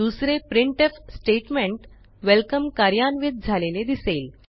दुसरे printf statement welcome कार्यान्वित झालेले दिसेल